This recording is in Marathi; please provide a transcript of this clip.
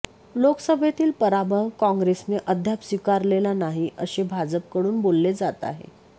लोकसभेतील पराभव काँग्रेसने अद्याप स्वीकारलेला नाही असे भाजपकडून बोलले जात आहे